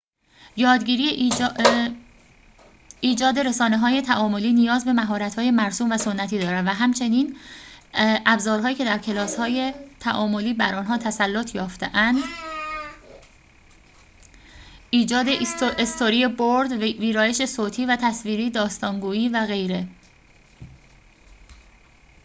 یادگیری ایجاد رسانه‌های تعاملی نیاز به مهارت‌های مرسوم و سنتی دارد، و همچنین ابزارهایی که در کلاس‌های تعاملی بر آنها تسلط یافته‌اند ایجاد استوری‌برد، ویرایش صوتی و تصویری، داستان‌گویی و غیره